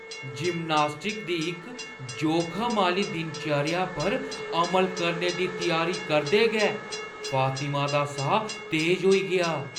Gymnastic दी इक जोखम आह्‌ली दिनचर्या पर अमल करने दी त्यारी करदे गै फातिमा दा साह् तेज होई गेआ।